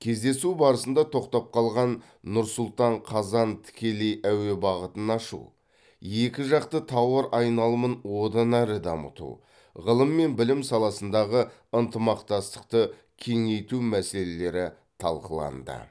кездесу барысында тоқтап қалған нұр сұлтан қазан тікелей әуе бағытын ашу екі жақты тауар айналымын одан әрі дамыту ғылым мен білім саласындағы ынтымақтастықты кеңейту мәселелері талқыланды